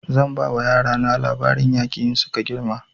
Zan ba wa yara na labarin yaƙi in suka girma